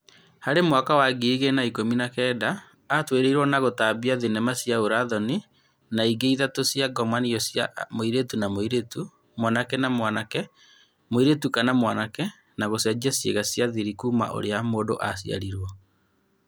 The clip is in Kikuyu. Harĩ mwaka wa ngirĩ igĩrĩ na ikũmi na-kenda, atũĩrĩirwo na gũtambia thinema cia ũra-thoni na ingĩ ithatũ cia " ngomanio cia mũirĩtu na mũirĩtu, mwanake na mwanake, mũirĩtu kana mwanake na gũcenjia ciĩga cia thiri kuuma ũrĩa mũndũ aciarirwo".